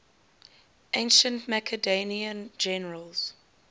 ancient macedonian generals